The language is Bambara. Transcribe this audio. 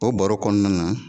O baro kɔnɔna na